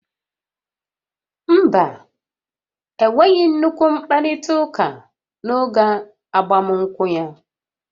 Mba, enweghị nnukwu mkparita uka n'oge agbamunkwụ ya